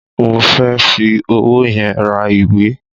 Mo fẹ́ fi owó yẹn ra ìwé.